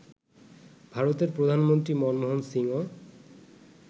ভারতের প্রধানমন্ত্রী মনমোহন সিংও